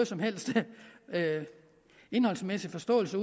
som helst indholdsmæssig forståelse